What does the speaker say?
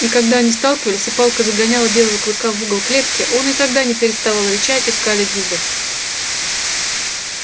и когда они сталкивались и палка загоняла белого клыка в угол клетки он и тогда не переставал рычать и скалить зубы